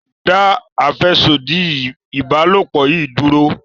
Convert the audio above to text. dá afẹsodi ìbálòpọ̀ yí dúró!